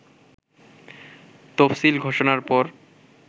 তফসিল ঘোষণার পর